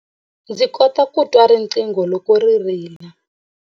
Ndzi kota ku twa riqingho loko ri rila.